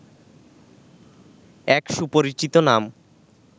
এক সুপরিচিত নাম